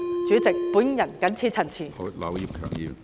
主席，我謹此陳辭。